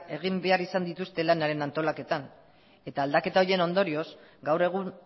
egin behar izan dituzte lanaren antolaketan eta aldaketa horien ondorioz gaur egun